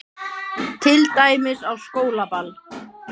Til dæmis á skólaball.